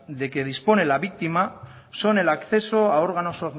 de que dispone la víctima son el acceso a órganos